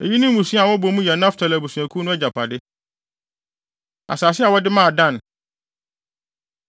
Eyi ne mmusua a wɔbɔ mu yɛ Naftali abusuakuw no agyapade. Asase A Wɔde Maa Dan